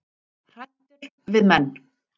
Hræddur við menn